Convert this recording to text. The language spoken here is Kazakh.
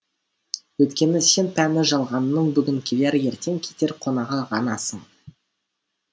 өйткені сен пәни жалғанның бүгін келер ертең кетер қонағы ғанасың